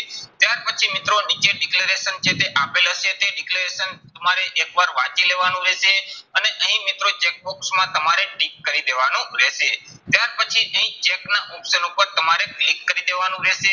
ત્યાર પછી મિત્રો નીચે declaration છે તે આપેલું હશે તે declaration તમારે એક વાર વાંચી લેવાનું રહેશે. અને અહીં મિત્રો check box માં તમારે tick કરી દેવાનું રહેશે. ત્યાર પછી અહીં ના option ઉપર તમારે click કરી દેવાનું રહેશે.